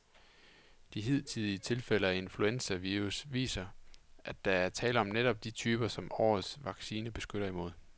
De hidtidige tilfælde af influenzavirus viser, at der er tale om netop de typer, som årets vaccine beskytter imod.